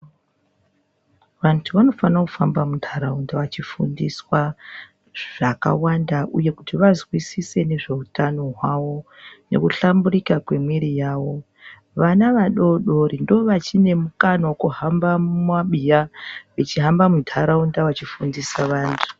Vantu vanofana kufamba muntaraunda vachifundiswa zvakawanda, uye kuti vazwisise nezveutano hwavo nekuhlambirika kwemwiri yavo. Vana vadodori ndovachine mukana vekuhamba mumabiya vachihamba muntaraunda vachifundisa vantu.